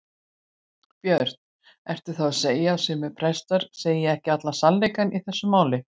Björn: Ertu þá að segja að sumir prestar segir ekki allan sannleikann í þessu máli?